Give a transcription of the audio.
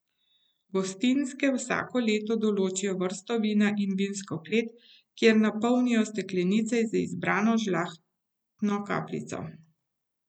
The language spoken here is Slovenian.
Gostinske vsako leto določijo vrsto vina in vinsko klet, kjer napolnijo steklenice z izbrano žlahtno kapljico.